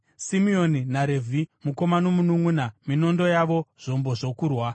“Simeoni naRevhi mukoma nomununʼuna, minondo yavo zvombo zvokurwa.